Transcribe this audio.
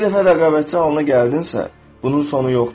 Bir dəfə rəqabətçi halına gəldinsə, bunun sonu yoxdur.